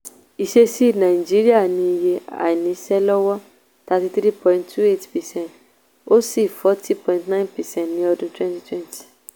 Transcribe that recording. ìsesí nàìjíríà ní iye àìnísẹ́lọ́wọ́ thirty three point two eight percent ó sì forty point nine percent ní ọdún twenty twenty.